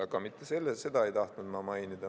Aga mitte seda ei tahtnud ma mainida.